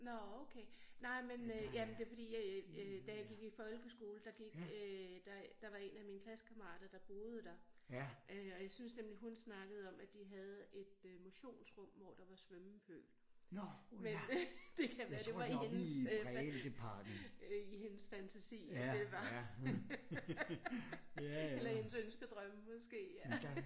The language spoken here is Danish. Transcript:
Nårh okay nej men øh jamen det fordi øh da jeg gik i folkeskole der gik øh der der var en af mine klassekammerater der boede der øh og jeg synes nemlig hun snakkede om at de havde et øh motionsrum hvor der var svømmepøl men det kan være det var i hendes øh i hendes fantasi at det var eller i hendes ønskedrømme måske ja